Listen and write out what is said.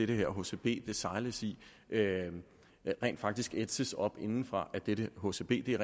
det her hcb sejles i rent faktisk ætses op indefra af dette hcb det